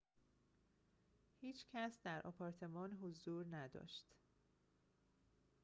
هیچ کس در آپارتمان حضور نداشت